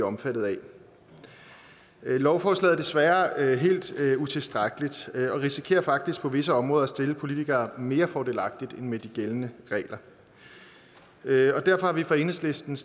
omfattet af lovforslaget er desværre helt utilstrækkeligt og risikerer faktisk på visse områder at stille politikere mere fordelagtigt end med de gældende regler derfor har vi fra enhedslistens